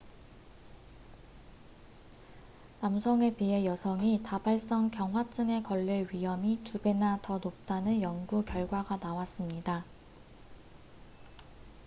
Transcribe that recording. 남성에 비해 여성이 다발성 경화증에 걸릴 위험이 2배나 더 높다는 연구 결과가 나왔습니다